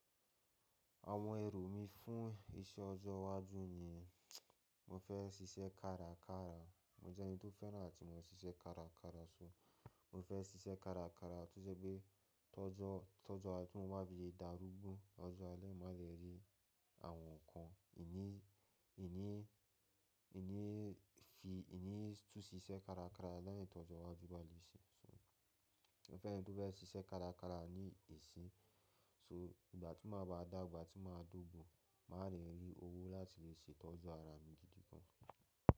Àwọn èrò mí fún iṣẹ ọjọ́ iwájú ni mo fẹ́ sisẹ́ kárakára. Mo jẹ́ ẹni tó fẹ́ràn láti máa sisẹ́ kárakára sọ. Mo fẹ́ sisẹ́ kárakára torí pé tọ́jó tí mo bá fi darúgbó ọjọ́ alẹ́ máa lè rí àwọn nǹkan. Kìní, kíní, kíní fi, kíní tún sí iṣẹ́ kárakára lẹ́yìn tó jọ iwájú bá lè ṣe. So mo fẹ́ rí ẹni tó fẹ́ sisẹ́ kárakára ní ìsin. So ìgbà tí máa bá dàgbà, tí máa dógbo, mà rí owó láti lè ṣe ìtọ́jú ara mi gidi gan.